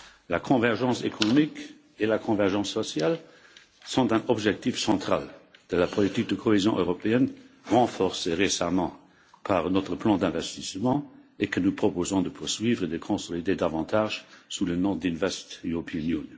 La convergence économique et la convergence sociale sont des objectifs centraux de la politique de cohésion européenne, renforcée récemment par notre plan d'investissement et que nous proposons de poursuivre et de consolider davantage sous le nom d'Invest European Union.